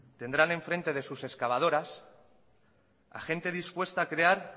tendrán en frente de sus excavadoras a gente dispuesta a crear